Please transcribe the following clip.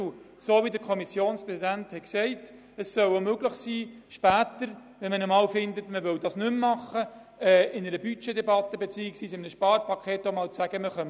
Auch soll er zu einem späteren Zeitpunkt die Möglichkeit haben – wie vom Kommissionspräsidenten der BiK erwähnt – in einer Budget- beziehungsweise Sparpaketdebatte, die Finanzierung auszusetzen.